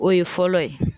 O ye fɔlɔ ye